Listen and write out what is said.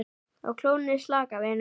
Á klónni slaka, vinur